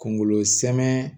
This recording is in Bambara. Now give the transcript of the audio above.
Kungolo sɛnɛn